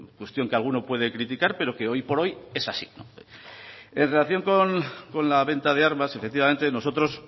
cuestión que alguno puede criticar pero que hoy por hoy es así en relación con la venta de armas efectivamente nosotros